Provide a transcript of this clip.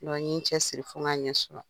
n ye cɛsiri fo n k'a ɲɛ sɔrɔ.